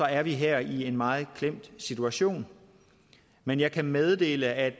er vi her i en meget klemt situation men jeg kan meddele at